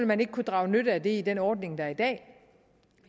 man ikke kunne drage nytte af det i den ordning der er i dag